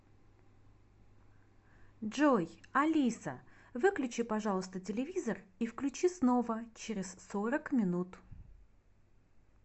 джой алиса выключи пожалуйста телевизор и включи снова через сорок минут